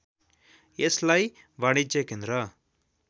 यसलाई वाणिज्य केन्द्र